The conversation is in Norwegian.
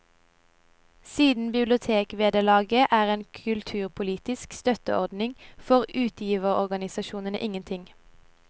Siden bibliotekvederlaget er en kulturpolitisk støtteordning, får utgiverorganisasjonene ingenting.